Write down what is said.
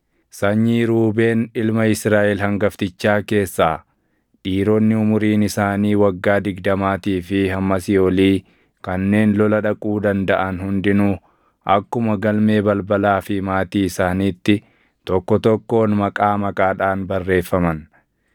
Sanyii Ruubeen ilma Israaʼel hangaftichaa keessaa: Dhiironni umuriin isaanii waggaa digdamaatii fi hammasii olii kanneen lola dhaquu dandaʼan hundinuu akkuma galmee balbalaa fi maatii isaaniitti tokko tokkoon maqaa maqaadhaan barreeffaman.